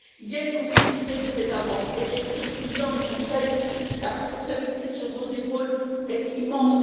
Il y a une complicité des États membres et, Monsieur le Président du Conseil, la responsabilité sur vos épaules est immense.